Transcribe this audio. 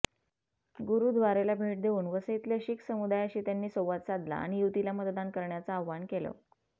गुरुद्वारेला भेट देऊन वसईतल्या शिख समुदायाशी त्यांनी संवाद साधला आणि युतीला मतदान करण्याचं आवाहन केलं